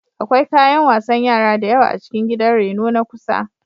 Akwai kayan wasan yara da yawa a cikin gidan reno na kusa.